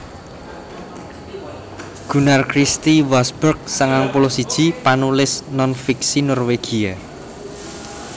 Gunnar Christie Wasberg sangang puluh siji panulis non fiksi Norwégia